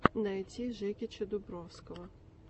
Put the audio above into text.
найти жекича дубровского